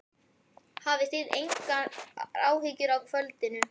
Hafið þið engar áhyggjur af kvöldinu?